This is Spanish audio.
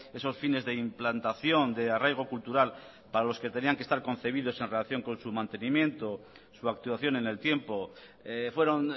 esos fines de implantación de arraigo cultural para los que tenían que estar concebidos en relación con su mantenimiento su actuación en el tiempo fueron